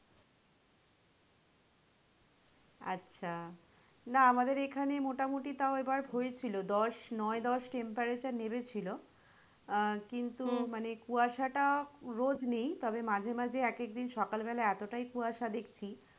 আচ্ছা না আমাদের এখানে মোটামটি তাও এবার হয়েছিলো দশ নয় দশ temperature নেমেছিল আহ কিন্তু মানে কুয়াশা টা রোজ নেই তবে মাঝে মাঝে এক এক দিন সকাল বেলা এতোটাই কুয়াশা দেখছি,